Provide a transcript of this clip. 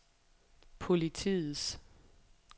politiets